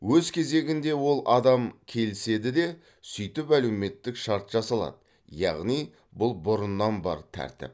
өз кезегінде ол адам келіседі де сөйтіп әлеуметтік шарт жасалады яғни бұл бұрыннан бар тәртіп